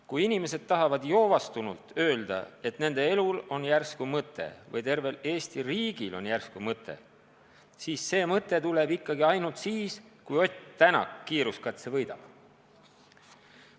Kui inimesed tahavad joovastunult öelda, et nende elul on järsku mõte või tervel Eesti riigil on järsku mõte, siis see mõte tuleb ikkagi ainult siis, kui Ott Tänak kiiruskatse võidab.